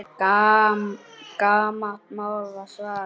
Gamalt mál, er svarið.